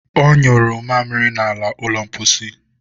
ọ nyụrụ mamịrị n'ala ụlọ mposi.